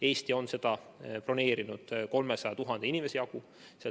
Eesti on seda broneerinud 300 000 inimese jagu.